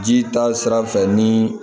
Ji ta sira fɛ ni